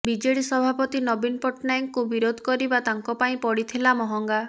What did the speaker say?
BJD ସଭାପତି ନବୀନ ପଟ୍ଟନାୟକଙ୍କୁ ବିରୋଧ କରିବା ତାଙ୍କ ପାଇଁ ପଡିଥିଲା ମହଙ୍ଗା